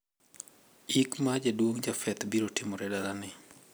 Ik mar jaduong` Japheth biro timore dalane.